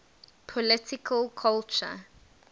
political culture